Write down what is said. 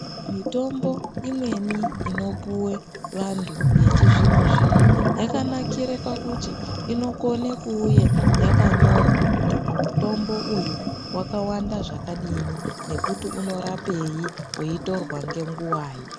Mitombo imweni inopuve vantu vechizvino-zvino yakanakire pakuti inokona kuuya vakanyorwa kuti mutombo uyu vakawanda zvakadini. Nekuti unorapei veitorwa ngenguvai.